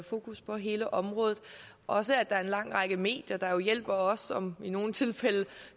fokus på hele området også at der er en lang række medier der hjælper os og i nogle tilfælde